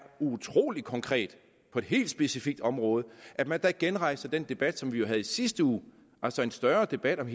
utrolig konkret på et helt specifikt område at genrejse den debat som vi jo havde i sidste uge altså en større debat om